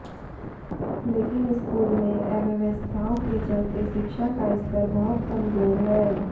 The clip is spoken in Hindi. लेकिन स्कूल में अव्यवस्थाओं के चलते शिक्षा का स्तर बहुत कमजोर है